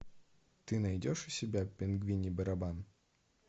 ты найдешь у себя пингвиний барабан